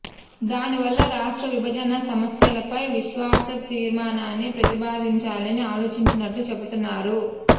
దానివల్ల రాష్ట్ర విభజన సమస్యలపై అవిశ్వాస తీర్మానాన్ని ప్రతిపాదించాలని ఆలోచిస్తున్నట్లు చెబుతున్నారు